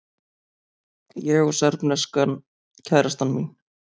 Ég og serbneska kærastan mín.